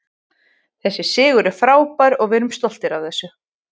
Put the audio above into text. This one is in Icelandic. Þessi sigur er frábær og við erum stoltir af þessu.